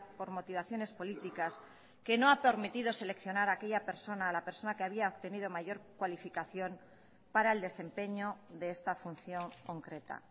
por motivaciones políticas que no ha permitido seleccionar a aquella persona a la persona que había obtenido mayor cualificación para el desempeño de esta función concreta